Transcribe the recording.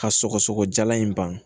Ka sɔgɔsɔgɔ jalan in ban